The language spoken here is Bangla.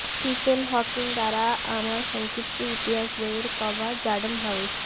স্টিফেন হকিং দ্বারা আমার সংক্ষিপ্ত ইতিহাস বইয়ের কভার র্যান্ডম হাউস